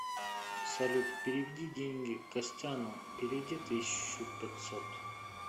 салют переведи деньги костяну переведи тысячу пятьсот